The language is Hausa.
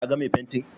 Ka ga mai fentin?